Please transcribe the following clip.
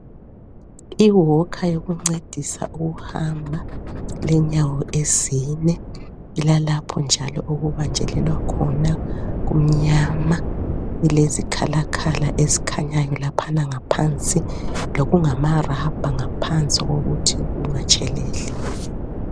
I"walker" yokuncedisa ukuhamba, ilenyawo ezine. Ilalapho njalo okubanjelelwa khona kumnyama. Ilezikhalakhala ezikhanyayo laphana ngaphansi lokungama "rubber" ngaphansi ukuthi kungatsheleli.